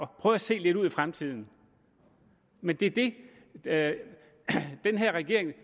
prøve at se lidt ud i fremtiden men det det er det den her regering